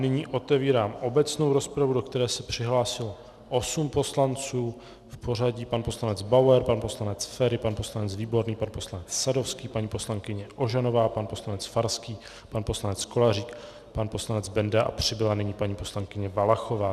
Nyní otevírám obecnou rozpravu, do které se přihlásilo osm poslanců v pořadí pan poslanec Bauer, pan poslanec Feri, pan poslanec Výborný, pan poslanec Sadovský, paní poslankyně Ožanová, pan poslanec Farský, pan poslanec Kolařík, pan poslanec Benda a přibyla nyní paní poslankyně Valachová.